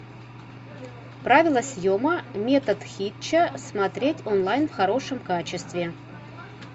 правило съема метод хитча смотреть онлайн в хорошем качестве